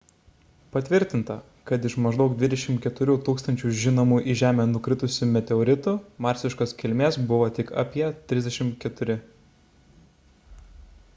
patvirtinta kad iš maždaug 24 000 žinomų į žemę nukritusių meteoritų marsiškos kilmės buvo tik apie 34